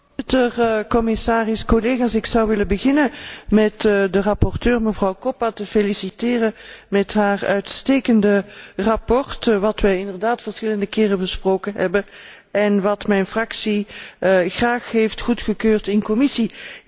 Voorzitter, commissaris, collega's, ik zou willen beginnen met de rapporteur, mevrouw Koppa, te feliciteren met haar uitstekende verslag, dat wij inderdaad verschillende keren besproken hebben en dat mijn fractie graag heeft goedgekeurd in de commissie.